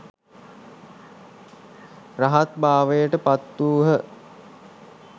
රහත් භාවයට පත් වූහ.